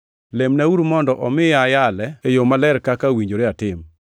Lemnauru mondo omiya ayale e yo maler kaka owinjore atim.